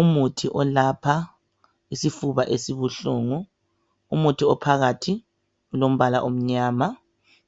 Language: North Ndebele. Umuthi olapha isifuba esibuhlungu umuthi ophakathi ulombala omnyama